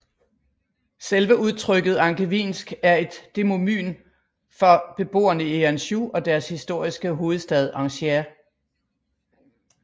Selve udtrykket angevinsk er et demonym for beboerne i Anjou og dens historiske hovedstad Angers